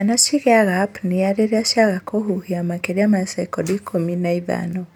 Ciana cigĩaga apnea rĩrĩa ciaga kũhuhia makĩria ma sekondi ikũmi ma ithano